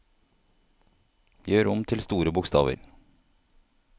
Gjør om til store bokstaver